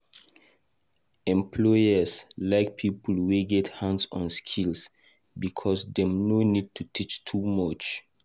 Employers like people wey get hands-on skills because dem no need to teach too much.